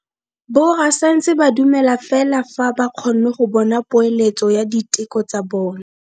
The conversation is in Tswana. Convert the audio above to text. Borra saense ba dumela fela fa ba kgonne go bona poeletso ya diteko tsa bone.